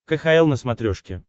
кхл на смотрешке